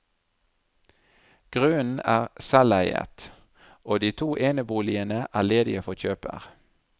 Grunnen er selveiet, og de to eneboligene er ledige for kjøper.